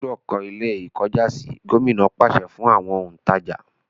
ẹ gbúdọ̀ kọ́ Ilé-ìkọ́jàsí! Gómìnà pàṣẹ fún àwọn òǹtàjà.